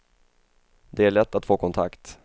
Det är lätt att få kontakt.